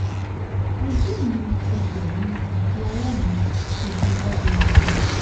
ojú mi ẹsẹ̀ mi àti ọwọ́ mi ti di hẹ́gẹhẹ̀gẹ